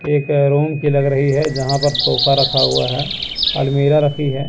एक रूम कि लग रही है जहां पर सोफा रखा हुआ है अलमीरा रखी है।